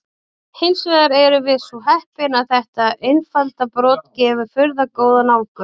Hins vegar erum við svo heppin að þetta einfalda brot gefur furðu góða nálgun.